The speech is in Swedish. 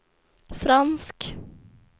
fransk